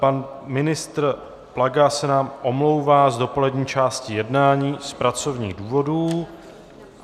Pan ministr Plaga se nám omlouvá z dopolední části jednání z pracovních důvodů.